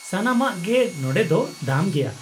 ᱥᱟᱱᱟᱢᱟᱜ ᱜᱮ ᱱᱚᱸᱰᱮ ᱫᱚ ᱫᱟᱢ ᱜᱮᱭᱟ ᱾